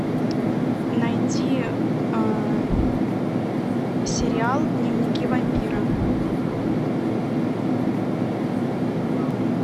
найди сериал дневники вампира